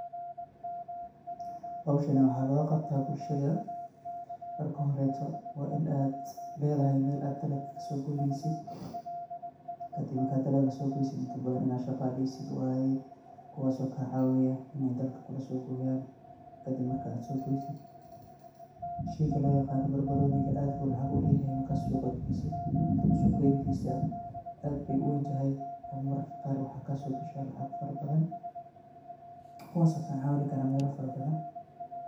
Howshani waxaa logu qabtaa bulshada, marki horeto waa ini aad ledahay meel dhalaga kasogoynesiid, kadiib marka dhalaga so goysid intaa badhaan waa ina shaqaleysid waye kuwaas o kacawinayo ini dhalaga kulasogoyan, kadiib markaa sogoysid ,sheyga loyaqano barbaroniga aad ayuu lacaag uleyahay marka suqaa geysiid, suuq gentisa aad beey uwentahay, mararka qarkodaa waxaa kasogashaa lacaag fara bathan kuwaso kacawini karo meela fara bathaan.